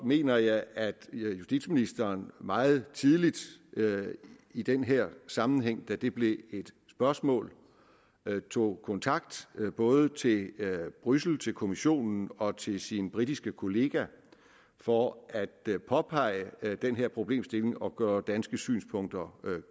mener jeg at justitsministeren meget tidligt i den her sammenhæng da det blev et spørgsmål tog kontakt både til bruxelles til kommissionen og til sin britiske kollega for at påpege den her problemstilling og gøre danske synspunkter